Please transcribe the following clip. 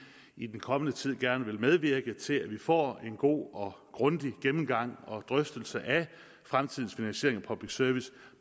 i den kommende tid gerne vil medvirke til at vi får en god og grundig gennemgang og drøftelse af fremtidens finansiering af public service